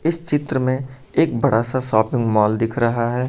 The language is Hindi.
इस चित्र में एक बड़ा सा शापिंग मॉल दिख रहा है।